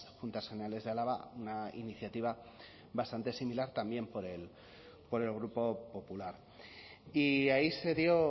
juntas generales de álava una iniciativa bastante similar también por el grupo popular y ahí se dio